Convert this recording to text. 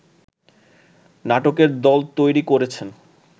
নাটকের দল তৈরী করেছেন